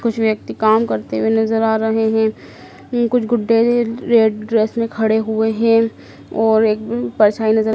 कुछ व्यक्ति काम करते हुए नजर आ रहें हैं कुछ रेड ड्रेस में खड़े हुए हैं और एकदम परछाई नजर--